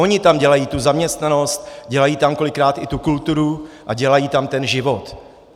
Oni tam dělají tu zaměstnanost, dělají tam kolikrát i tu kulturu a dělají tam ten život.